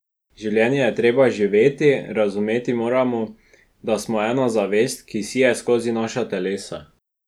Življenje je treba živeti, razumeti moramo, da smo ena zavest, ki sije skozi naša telesa.